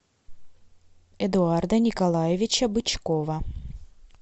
эдуарда николаевича бычкова